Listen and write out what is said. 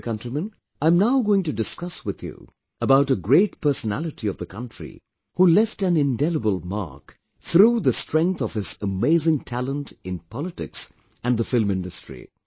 My dear countrymen, I am now going to discuss with you about a great personality of the country who left an indelible mark through the the strength of his amazing talent in politics and the film industry